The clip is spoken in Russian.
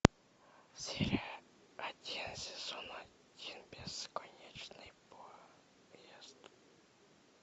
серия один сезон один бесконечный поезд